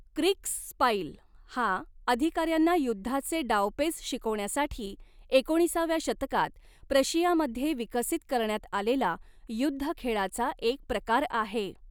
Kriegsspiel हा, अधिकाऱ्यांना युद्धाचे डावपेच शिकवण्यासाठी एकोणीसाव्या शतकात प्रशियामध्ये विकसित करण्यात आलेला युद्धखेळाचा एक प्रकार आहे.